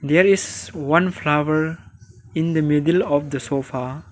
there is one flower in the middle of the sofa.